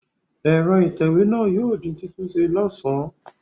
Ẹ̀rọ ìtẹ̀wé náà yóò di títúnṣe lọ́sàn-án.